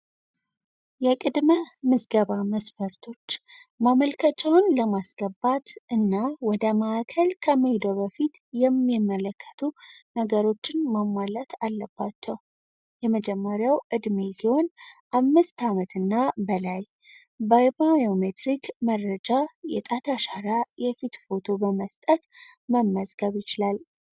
የቅድመ ምዝገባ መስፈርቶች መጀመሪያ ከሄዱ በፊት የሚመለከተው ነገር ማሟላት አለባቸው የመጀመሪያው እድሜ ሲሆን አምስት ዓመትና በላይ በባዮሜሪክ መረጃ የጣት አሻራ የፊት ፎቶ በመስጠት መመዝገብ ይችላል።